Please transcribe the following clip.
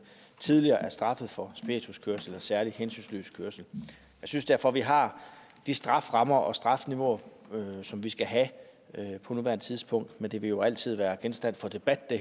tidligere er straffet for spirituskørsel eller særlig hensynsløs kørsel jeg synes derfor at vi har de strafferammer og de strafniveauer som vi skal have på nuværende tidspunkt men det her vil jo altid være genstand for debat det